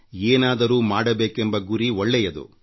ಏನಾದರೂ ಮಾಡಬೇಕೆಂಬ ಗುರಿ ಒಳ್ಳೆಯದು